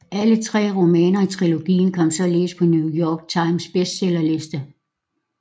Alle tre romaner i trilogien kom således på New York Times bestsellerliste